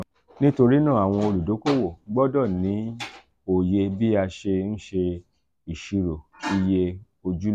nitorinaa awọn oludokoowo gbọdọ ni oye bii ia se nse isiro iye ojulowo.